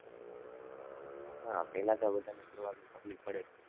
હા, પેલા તો બધાને શરૂઆતમાં તફ્લીક પડે જ